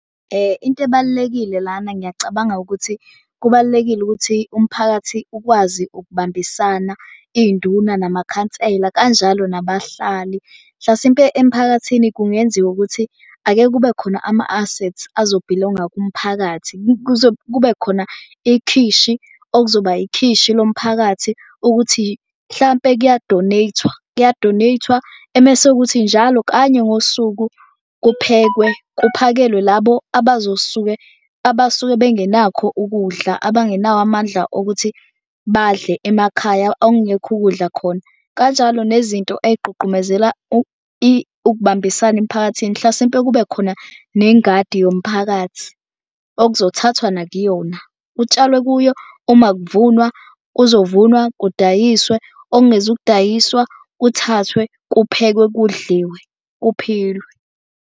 Into ebalulekile lana ngiyacabanga ukuthi kubalulekile ukuthi umphakathi ukwazi ukubambisana iy'nduna namakhansela kanjalo nabahlali. Mhlasimpe emphakathini kungenziwa ukuthi ake kube khona ama-assets azobhilonga kumphakathi. Kube khona ikhishi, okuzoba ikhishi lomphakathi ukuthi mhlampe kuya-donate-wa kuya-donate-wa emese kuthi njalo kanye ngosuku kuphekwe kuphakelwe labo abazosuke abasuke bengenakho ukudla. Abangenawo amandla okuthi badle emakhaya okungekho ukudla khona. Kanjalo nezinto eyigqugqumezela ukubambisana emphakathini hlasimpe kube khona nengadi yomphakathi okuzothatha nakuyona. Kutshalwe kuyo uma kuvunwa kuzovunwa kudayiswe okungezukudayiswa kuthathwe kuphekwe kudliwe kuphilwe.